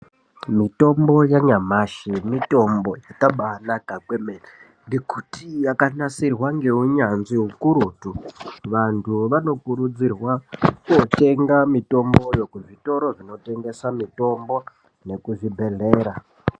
Mitombo yanyamashi mitombo yakabanaka kwemene ngekuti yakanasirwa ngeunyanzvi ukurutu vantu vanokurudzirwa kotenga mitomboyo kuzvitoro zvinotengesa mitombo nekuzvibhedhlera.